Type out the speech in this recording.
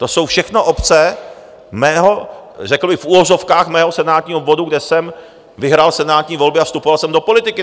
To jsou všechno obce mého, řekl bych v uvozovkách mého senátního obvodu, kde jsem vyhrál senátní volby a vstupoval jsem do politiky.